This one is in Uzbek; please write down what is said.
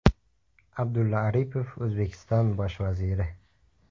Abdulla Aripov, O‘zbekiston bosh vaziri.